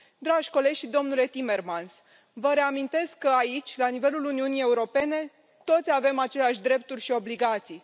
Dragi colegi și domnule Timmermans, vă reamintesc că aici, la nivelul Uniunii Europene, toți avem aceleași drepturi și obligații.